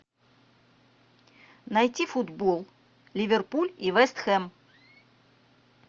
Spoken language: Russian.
найти футбол ливерпуль и вест хэм